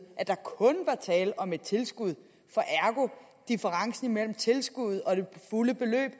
at der kun var tale om et tilskud for differencen mellem tilskuddet og det fulde beløb